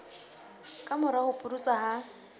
ka mora ho pudutsa ha